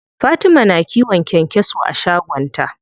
Fatima na kiwon kyankyaso a shagon ta.